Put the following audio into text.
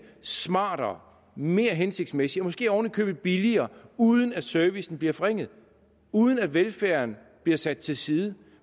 smartere mere hensigtsmæssigt og måske oven i købet billigere uden at servicen bliver forringet uden at velfærden bliver sat til side